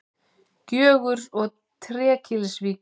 Gjögurs og Trékyllisvíkur.